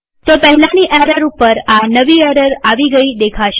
તો પહેલાની એરર ઉપર આ નવી એરર આવી ગઈ દેખાશે